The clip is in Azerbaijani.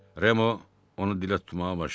Remo onu dilə tutmağa başladı.